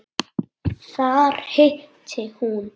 Þar hitti hún